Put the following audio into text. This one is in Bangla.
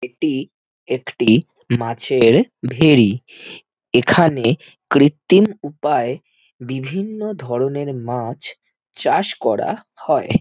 এটি একটি-ই মাছের ভেরি এখানে কৃত্তিম উপায়ে বিভিন্ন ধরণের মাছ চাষ করা হয়।